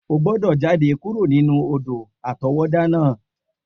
O gbọ́dọ̀ jade kuro nínú odò-àtọwọ́dá náà!